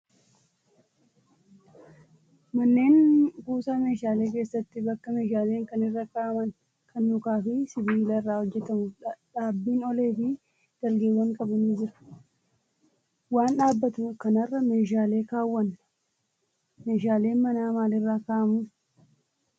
Manneen kuusaa meeshaalee keessatti bakka meeshaaleen kan irra kaa'aman kan mukaa fi sibiila irraa hojjatamu dhaabbiin olee fi dalgeewwan qabu ni jira. Waan dhaabbatu kanarra meeshaalee kaawwanna. Meeshaaleen manaa maalirra kaa'amuu?